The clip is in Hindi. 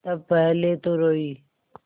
तब पहले तो रोयी